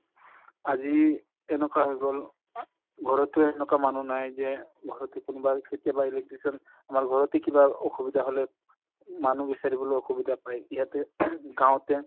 আজি এনেকুৱা হৈ গল ঘৰত টো এনেকুৱা মানুহ নাই যে ঘৰতে কোনোবা কেতিয়াবা electrician আমাৰ ঘৰতে কেতিয়াবা অসুবিধা হলে মানুহ বিচাৰিবলৈ অসুবিধা পায় ইয়াতে গাঁৱতে